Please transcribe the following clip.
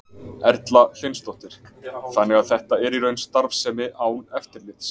Erla Hlynsdóttir: Þannig að þetta er í raun starfsemi án eftirlits?